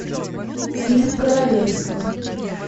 фильм королевство